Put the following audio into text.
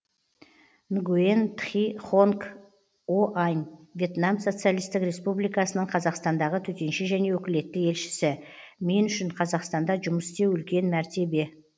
нгуен тхи хонг оань вьетнам социалистік республикасының қазақстандағы төтенше және өкілетті елшісі мен үшін қазақстанда жұмыс істеу үлкен мәртебе